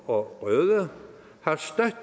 og røde